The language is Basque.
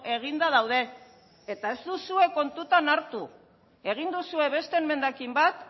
eginda daude eta ez duzue kontuan hartu egin duzue beste emendakin bat